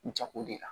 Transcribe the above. Jago de la